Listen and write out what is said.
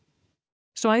svæðið